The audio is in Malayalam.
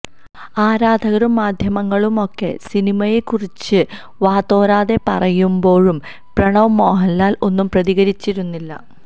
ആരാധകരും മാധ്യമങ്ങളുമൊക്കെ സിനിമയെ കുറിച്ച് വാതോരാതെ പറയുമ്പോഴും പ്രണവ് മോഹന്ലാല് ഒന്നും പ്രതികരിച്ചിരുന്നില്ല